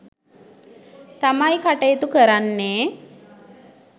තමයි කටයුතු කරන්නේ